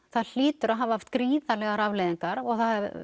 það hlýtur að hafa haft gríðarlegar afleiðingar og það